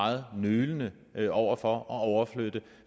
meget nølende over for at overflytte